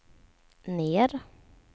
ner